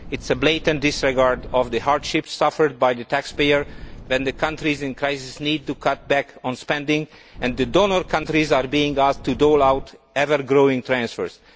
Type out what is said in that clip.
It is a blatant disregard of the hardship suffered by the taxpayer when the countries in crisis need to cut back on spending and the donor countries are being asked to dole out ever growing transfers.